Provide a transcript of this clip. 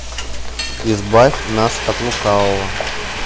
избавь нас от лукавого